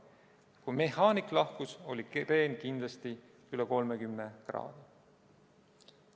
Kui mehaanik lahkus, oli kreen kindlasti üle 30 kraadi.